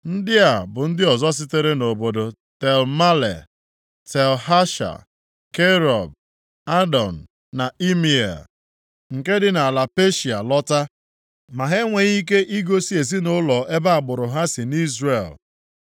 Ndị a bụ ndị ọzọ sitere nʼobodo Tel Mela, Tel Hasha, Kerub, Adọn na Imea, nke dị nʼala Peshịa lọta. Ma ha enweghị ike igosi ezinaụlọ ebe agbụrụ ha si nʼIzrel.